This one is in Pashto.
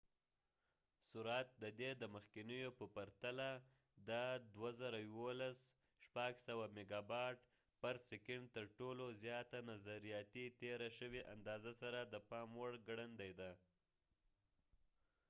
د ۸-۲.۱۱ n سرعت د دې د مخکینیو په پرتله د ۶۰۰ ميګابټ/سيکنډ ترټولو زیاته نظرياتي تېره شوې اندازه سره د پام وړ ګړندی دی